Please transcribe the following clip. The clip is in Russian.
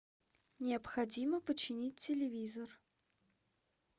необходимо починить телевизор